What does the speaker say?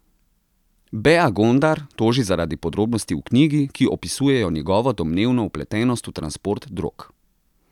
Bea Gondar toži zaradi podrobnosti v knjigi, ki opisujejo njegovo domnevno vpletenost v transport drog.